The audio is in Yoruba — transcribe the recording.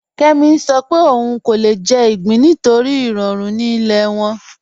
Kẹmì ń sọ̀ pé ọún kò lè jẹ̀ igbín nítorí iròrù ni ilẹ̀ wọn.